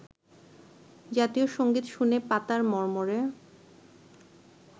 জাতীয় সংগীত শুনে পাতার মর্মরে